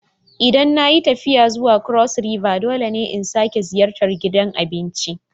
Idan na yi tafiya zuwa Cross River dole ne in sake ziyartar gidan abincin.